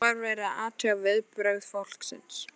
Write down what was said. Þá var verið að athuga viðbrögð fólksins.